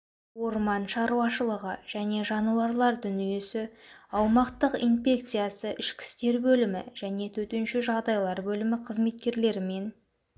орман шаруашылығы және жануарлар дүниесі аумақтық инпекциясы ішкі істер бөлімі және төтенше жағдайлар бөлімі қызметкерлерімен